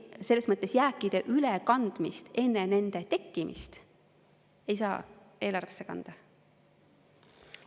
Selles mõttes jääkide ülekandmist enne nende tekkimist ei saa eelarvesse kanda.